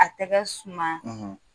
A tɛgɛ suma,